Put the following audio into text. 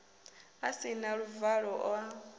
a si na luvalo a